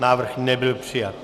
Návrh nebyl přijat.